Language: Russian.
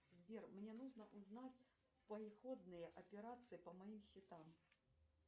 сбер мне нужно узнать приходные операции по моим счетам